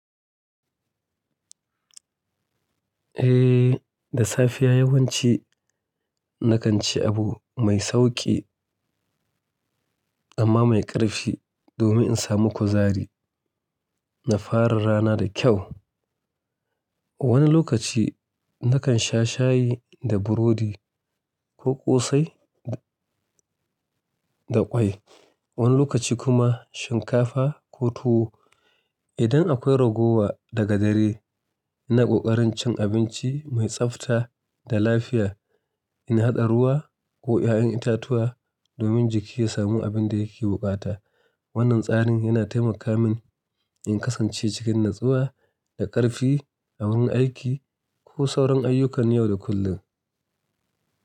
Eh, da safiya yawanci nakan ci abu mai sauƙi amma mai ƙarfi domin in samu kuzari na fara ranar da kyau. Wani lokaci nakan sha shayi da burodi ko ƙosai da ƙwai, wani lokaci kuma shinkafa ko tuwo. Idan akwai ragowa daga dare, ina ƙoƙarin cin abinci mai tsafta da lafiya, ina haɗa ruwa ko ƴaƴan itatuwa domin jiki ya samu abin da yake buƙata. Wannan tsarin yana taimaka min in kasance cikin natsuwa da ƙarfi a wurin aiki ko sauran ayyukani yau da kullum.